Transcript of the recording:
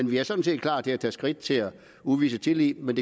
vi er sådan set klar til at tage skridtet og udvise tillid men